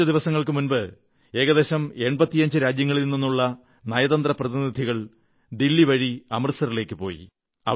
കുറച്ചു ദിവസങ്ങൾക്കു മുമ്പ് ഏകദേശം 85 രാജ്യങ്ങളിൽ നിന്നുള്ള നയതന്ത്ര പ്രതിനിധികൾ ദില്ലി വഴി അമൃത്സറിലേക്കുപോയി